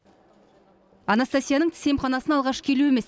анастасияның тіс емханасына алғаш келуі емес